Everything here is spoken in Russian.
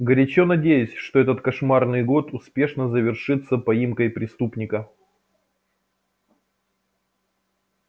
горячо надеюсь что этот кошмарный год успешно завершится поимкой преступника